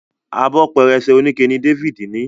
Abọ́ pẹrẹsẹ onikẹ ní Davido ní.